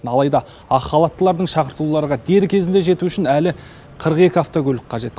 алайда ақ халаттылардың шақыртуларға дер кезінде жетуі үшін әлі қырық екі автокөлік қажет